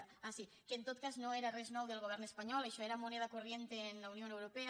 ah sí que en tot cas no era res nou del govern espanyol això era moneda corriente en la unión europea